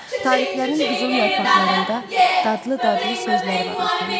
Tarixlərin qızıl yarpaqlarında dadlı-dadlı sözləri var ölkəmin.